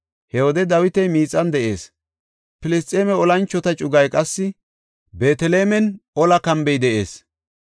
He wode Dawiti miixan de7ees; Filisxeeme olanchota cugay qassi Beetelemen olla kambe de7ees.